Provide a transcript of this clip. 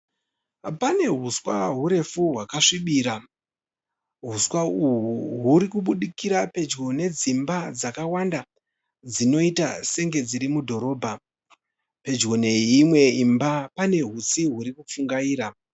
Pane huswa hurefu hwakasvibira. Huswa uhwu hurikubudikira pedyo nedzimba dzakawanda dzinoita senge dziri mudhorobha. Pedyo neimwe imba pane hutsi hurikupfungaira.